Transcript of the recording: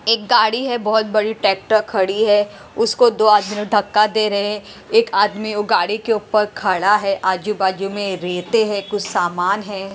एक गाड़ी है बहुत बड़ी ट्रैक्टर खड़ी है उसको दो आदमी लोग धक्का दे रहे हैं एक आदमी वो गाड़ी के ऊपर खड़ा है आजू-बाजू में रेते हैं कुछ सामान है।